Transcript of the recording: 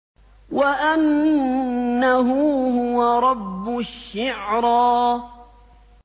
وَأَنَّهُ هُوَ رَبُّ الشِّعْرَىٰ